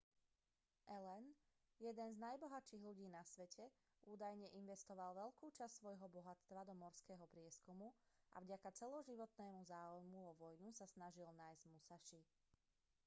allen jeden z najbohatších ľudí na svete údajne investoval veľkú časť svojho bohatstva do morského prieskumu a vďaka celoživotného záujmu o vojnu sa snažil nájsť musaši